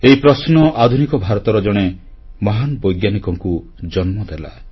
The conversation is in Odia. ଏହି ପ୍ରଶ୍ନ ଆଧୁନିକ ଭାରତର ଜଣେ ମହାନ ବୈଜ୍ଞାନିକକୁ ଜନ୍ମଦେଲା